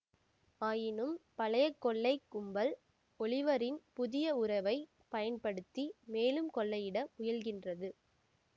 ஆயினும் பழைய கொள்ளைக் கும்பல் ஒலிவரின் புதிய உறவை பயன்படுத்தி மேலும் கொள்ளையிட முயல்கின்றது